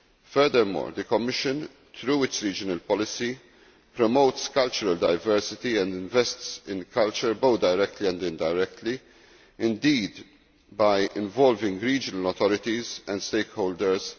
Furthermore, the Commission, through its regional policy, promotes cultural diversity and invests in culture, both directly and indirectly, indeed by involving regional authorities and stakeholders.